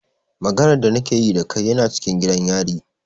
Maganar da na ke yi da kai yana cikin gidan yari.